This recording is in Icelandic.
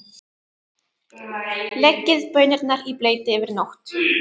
Leggið baunirnar í bleyti yfir nótt.